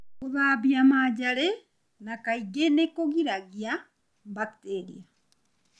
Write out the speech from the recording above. Gũthambia manjarĩ na kaingĩ nĩ kũgiragia bakteria.